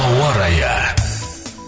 ауа райы